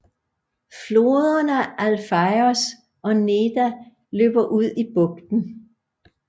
Floderne Alfeios og Neda løber ud i bugten